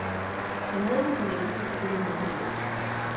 Jeg havde på fornemmelsen, at det ville ende galt.